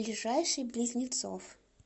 ближайший близнецов